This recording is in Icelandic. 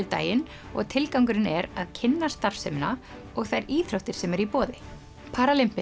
daginn og tilgangurinn er að kynna starfsemina og þær íþróttir sem eru í boði